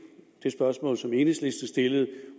spørgsmål som enhedslisten stillede